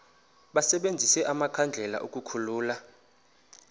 basebenzise amakhandlela ukukhulula